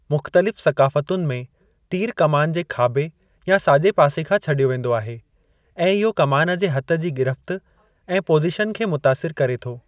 मुख़्तलिफ़ सक़ाफ़तुनि में, तीरु कमान जे खाॿे या साॼे पासे खां छॾियो वेंदो आहे, ऐं इहो कमान जे हथ जी गिरफ़्त ऐं पोज़ीशन खे मुतासिरु करे थो।